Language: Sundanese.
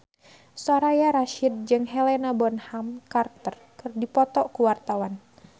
Soraya Rasyid jeung Helena Bonham Carter keur dipoto ku wartawan